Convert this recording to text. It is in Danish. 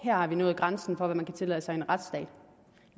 her har vi nået grænsen for hvad man kan tillade sig i en retsstat